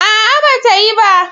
A'a, ba ta yi ba.